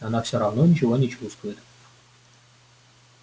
она все равно ничего не чувствует